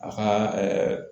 A ka